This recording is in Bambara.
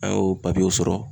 An y'o papiyew sɔrɔ.